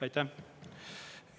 Aitäh!